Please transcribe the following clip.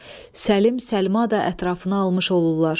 Səlim, Səlma da ətrafına almış olurlar.